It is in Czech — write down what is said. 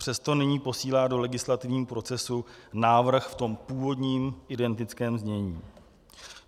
Přesto nyní posílá do legislativního procesu návrh v tom původním, identickém znění.